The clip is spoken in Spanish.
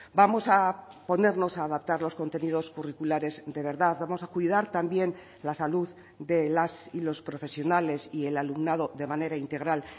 vamos a ponernos a adaptar los contenidos curriculares de verdad vamos a cuidar también la salud de las y los profesionales y el alumnado de manera integral